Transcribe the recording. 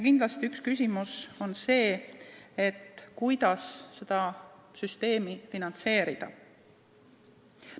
Kindlasti on üks küsimus see, kuidas seda süsteemi finantseerida.